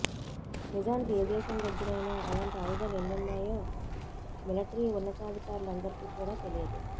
నిజానికి ఏ దేశం దగ్గరైనా అలాంటి ఆయుధాలు ఎన్ని ఉన్నాయో మిలిటరీ ఉన్నతాధి కారులందరికీ కూడా తెలియదు